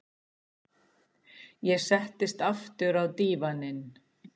Ég settist aftur á dívaninn.